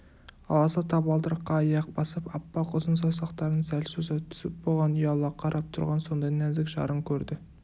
аласа табалдырыққа аяқ басып аппақ ұзын саусақтарын сәл соза түсіп бұған ұяла қарап тұрған сондай нәзік жарын көрді